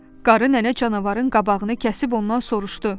Qarı nənə canavarın qabağını kəsib ondan soruşdu.